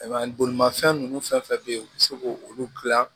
Bolimafɛn ninnu fɛn fɛn bɛ yen u bɛ se k'olu dilan